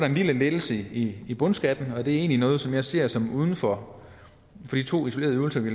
en lille lettelse i i bundskatten og det er egentlig noget som jeg ser som værende uden for de to isolerede øvelser vi